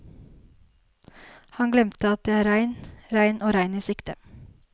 Han glemte at det er regn, regn og regn i sikte.